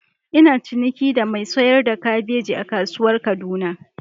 Ina ciniki da mai sayar da kabeji a kasuwar kaduna.